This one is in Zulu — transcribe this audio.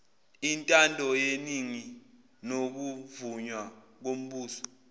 intandoyeningi nokuvunywa kombuso